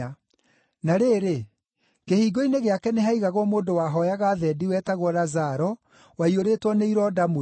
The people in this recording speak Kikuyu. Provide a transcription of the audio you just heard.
Na rĩrĩ, kĩhingo-inĩ gĩake nĩhaigagwo mũndũ wahooyaga thendi wetagwo Lazaro, waiyũrĩtwo nĩ ironda mwĩrĩ,